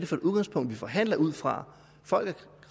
for et udgangspunkt vi forhandler ud fra folk